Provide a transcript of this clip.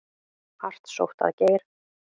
Hart sótt að Geir